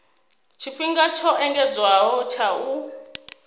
tshifhinga tsho engedzedzwaho tsha u